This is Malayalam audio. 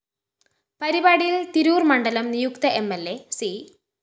പരിപാടിയില്‍ തിരൂര്‍ മണ്ഡലം നിയുക്ത എം ൽ അ സി